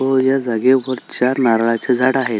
व या जागेवर चार नारळाची झाड आहे.